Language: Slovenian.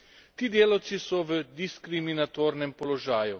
Ti delavci so v diskriminatornem položaju.